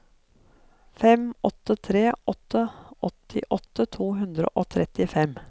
fem åtte tre åtte åttiåtte to hundre og trettifem